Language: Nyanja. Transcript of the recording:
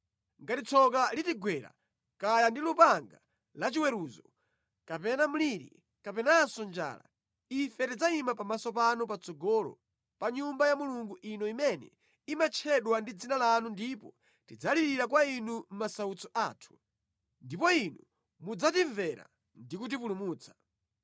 ‘Ngati tsoka litigwera kaya ndi lupanga lachiweruzo, kapena mliri, kapenanso njala, ife tidzayima pamaso panu patsogolo pa Nyumba ya Mulungu ino imene imatchedwa ndi Dzina lanu ndipo tidzalirira kwa inu mʼmasautso athu, ndipo Inu mudzatimvera ndi kutipulumutsa.’